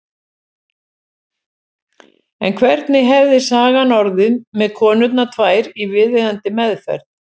En hvernig hefði sagan orðið með konurnar tvær í viðeigandi meðferð?